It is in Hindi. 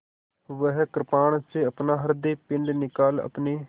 वह कृपाण से अपना हृदयपिंड निकाल अपने